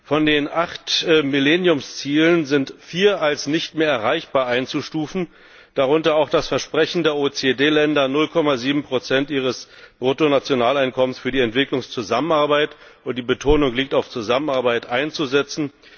Von den acht Millenniumszielen sind vier als nicht mehr erreichbar einzustufen, darunter auch das Versprechen der OECD Länder, 0,7 ihres Bruttonationaleinkommens für die Entwicklungszusammenarbeit die Betonung liegt auf Zusammenarbeit einzusetzen.